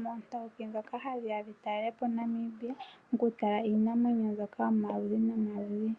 moontawuki dhoka hadhi ya dhitalele po Namibia, oku tala iinamwenyo mbyoka omayovi nomayovi.